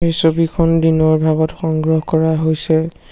ছবিখন দিনৰ ভাগত সংগ্ৰহ কৰা হৈছে।